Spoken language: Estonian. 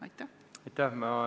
Aitäh!